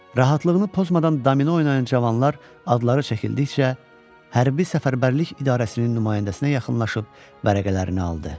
Rahatlığını pozmadan domino oynayan cavanlar adları çəkildikcə Hərbi Səfərbərlik İdarəsinin nümayəndəsinə yaxınlaşıb vərəqələrini aldı.